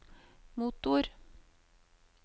motor